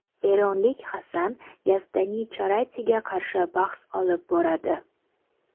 eronlik Hassan Yazdanicharatiga qarshi bahs olib boradi;.